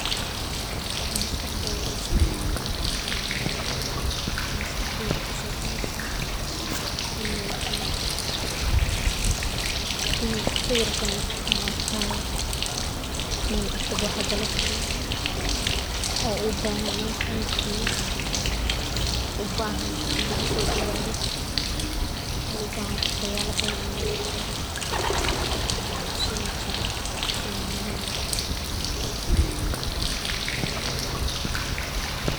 Waxaa maskaxdadha kusodacaya marki aa tan aragto waxaa kuso dacaya in lagu sodawadho oo ubahan in wax badan laga ogadho sas ayey muhiim ogu tahay.